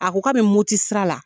A ko ka bɛ Moti sira la